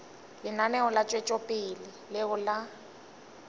lenaneo la tšwetšopele leo le